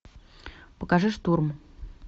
покажи штурм